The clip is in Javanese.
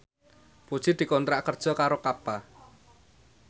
Puji dikontrak kerja karo Kappa